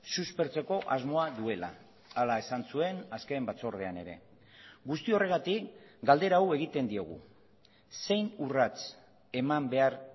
suspertzeko asmoa duela hala esan zuen azken batzordean ere guzti horregatik galdera hau egiten diogu zein urrats eman behar